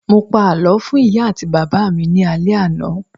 Mo pa àlọ́ fún ìyá àti bàbá mi ní alẹ àná.